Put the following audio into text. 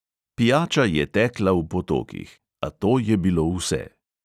Pijača je tekla v potokih, a to je bilo vse.